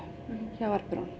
hjá